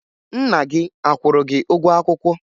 Nna gị a kwụrụ gị ụgwọ akwụkwọ?